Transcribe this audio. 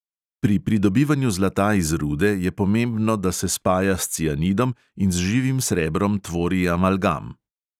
Pri pridobivanju zlata iz rude je pomembno, da se spaja s cianidom in z živim srebrom tvori amalgam.